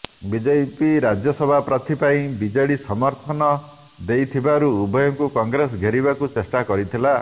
BJP Rajya Sabha ପ୍ରାର୍ଥୀ ପାଇଁ BJD ସମର୍ଥନ ଦେଇଥିବାରୁ ଉଭୟଙ୍କୁ କଂଗ୍ରେସ ଘେରିବାକୁ ଚେଷ୍ଟା କରିଥିଲା